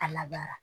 A labaara